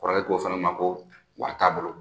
Kɔrɔ k'o fana ma ko w'a t'a bolo